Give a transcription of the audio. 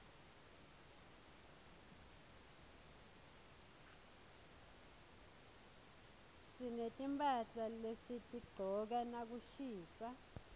sinetimphahla lesitigcoka nakushisa